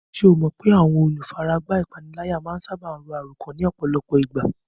Ṣé o mọ̀ pé àwọn olùfaragbá ìpániláyà máa ń sáábà ro àròkán ní ọ̀pọ̀lọpọ̀ ìgbà?